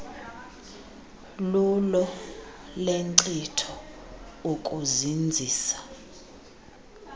lulo lenkcitho ukuzinzisa